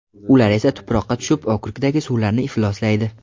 Ular esa tuproqqa tushib okrukdagi suvlarni ifloslaydi.